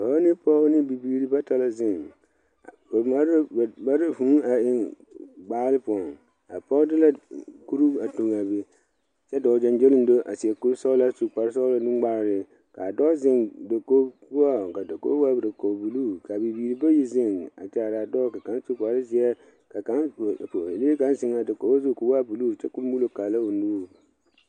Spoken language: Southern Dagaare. Dɔɔ ne pɔge ne bibiiri bata la zeŋ, ba mare la vʋʋ a eŋe gbaal poɔŋ a pɔge de la kuro a toŋ a be kyɛ dɔɔ gyɔŋgyoleŋgyo a seɛ kuri sɔglaa a su kpare sɔglaa nuŋmaara kaa dɔɔ zeŋ dakogi poɔŋ ka dakogi waa dakogi. buuluu kaa bibiiri bayi zeŋ a kyaare a dɔɔ ka kaŋa. su kpare zeɛ ka kaŋa zeŋ a dakogi zu kɔɔ waa buuluu kyɛ kɔɔ muulo kaara o niŋɛ